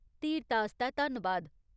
धीरता आस्तै धन्नवाद।